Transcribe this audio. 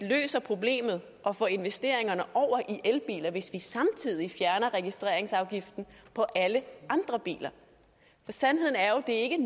løser problemet og får investeringerne over i elbiler hvis vi samtidig fjerner registreringsafgiften på alle andre biler sandheden er jo at det ikke